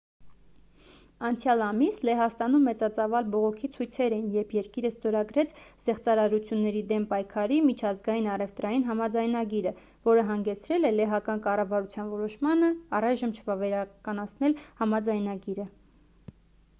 անցյալ ամիս լեհաստանում մեծածավալ բողոքի ցույցեր էին երբ երկիրը ստորագրեց զեղծարարությունների դեմ պայքարի միջազգային առևտրային համաձայնագիրը որը հանգեցրել է լեհական կառավարության որոշմանը առայժմ չվավերացնել համաձայնագիրը